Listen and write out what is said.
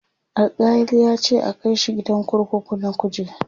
Alkali yace a Kai shi gidan kurkuku na kuje